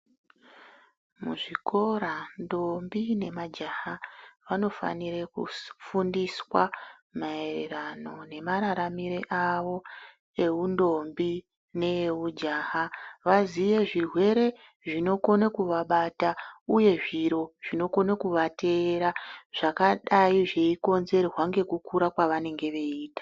Muzvikora ntombi nemajaha vanofanire kufundiswa mayererano nemararamiro avo ewuntombi neweujaha vaziye zvirwere zvinokona kuvabata uye zviro zvinokone kuvatera zvakadai zvinokonzerwa nekukura kwavanenge veiita.